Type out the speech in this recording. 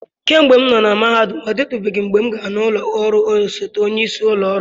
kemgbe m nọ na mahadum, ọ dịtụbeghị mgbe m gara n'ụlọ ọrụ osote onyeisi ụlọ ọrụ.